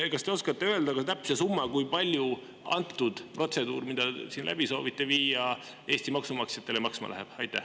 Kas te oskate öelda täpse summa, kui palju antud protseduur, mille te siin läbi soovite viia, Eesti maksumaksjatele maksma läheb?